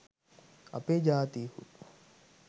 අපේ ජාතීහු